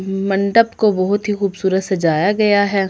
मंडप को बहुत खुबसूरत सजाया गया हैं।